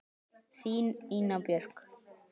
Þín, Ína Björk.